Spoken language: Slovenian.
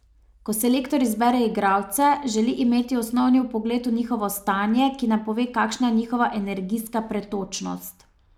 Ko selektor izbere igralce, želi imeti osnovni vpogled v njihovo stanje, ki nam pove, kakšna je njihova energijska pretočnost.